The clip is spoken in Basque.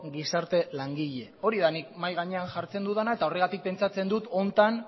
gizarte langile hori da nik mahai gainean jartzen dudana eta horregatik pentsatzen dut honetan